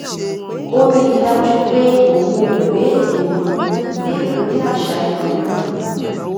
ó rí i dájú pé òun ò gbé èrò òun lé orí àṣà ẹlòmíràn